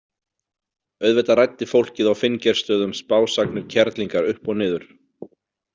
Auðvitað ræddi fólkið á Finngeirsstöðum spásagnir kerlingar upp og niður.